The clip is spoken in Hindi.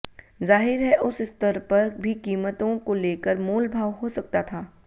ज़ाहिर है उस स्तर पर भी कीमतों को लेकर मोलभाव हो सकता था